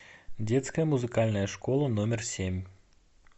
детская музыкальная школа номер семь